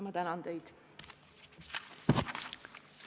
Ma tänan teid!